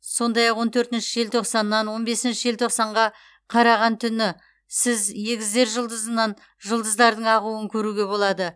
сондай ақ он төртінші желтоқсаннан он бесінші желтоқсанға қараған түні сіз егіздер жұлдызынан жұлдыздардың ағуын көруге болады